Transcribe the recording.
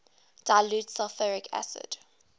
dilute sulfuric acid